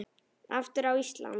Aftur Ísland.